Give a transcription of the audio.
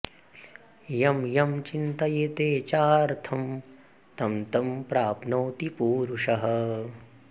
यं यं चिन्तयते चार्थं तं तं प्राप्नोति पूरुषः